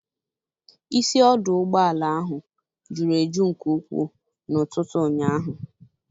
Isi ọdụ ụgbọala ahụ juru eju nke ukwuu n'ụtụtụ ụnyaahụ